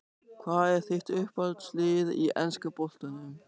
Hvað er þitt uppáhaldslið í enska boltanum?